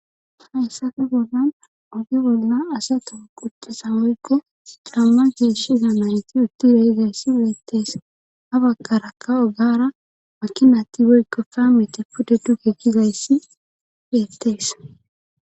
Hayssafe bollan oge bolla asata quchthesa woykke camma geesh iza mareti utti rei gayssi weettees ha bakarakka ogaara makinati woykko faameti pude duke gigayssi beettees